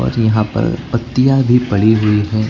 पर यहां पर पत्तियां भी पड़ी हुई है।